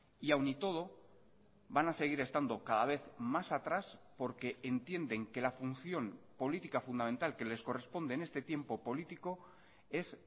y aun y todo van a seguir estando cada vez más atrás porque entienden que la función política fundamental que les corresponde en este tiempo político es